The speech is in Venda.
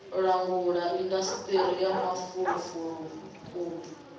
langula indasiṱiri ya mafulufulu u